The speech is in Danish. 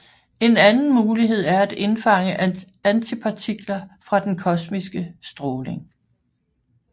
En anden mulighed er at indfange antipartikler fra den kosmiske stråling